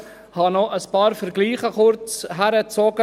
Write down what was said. Ich habe noch kurz ein paar Vergleiche herbeigezogen.